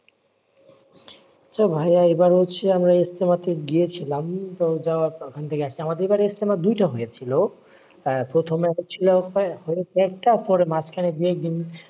so ভাইয়া এইবার হচ্ছে আমরা ইজতেমাতে গিয়েছিলাম। তো যাওয়ার অইখান আমাদের এইবার ইজতেমা দুইটা হয়েছিল। আহ প্রথমে একটা ছিল হ্যাঁ পরে একটা মাঝখানে দুই একদিন,